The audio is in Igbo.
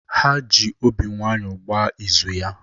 Ha ji obi nwayọọ gbaa izu ya.